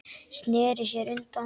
Sneri sér undan.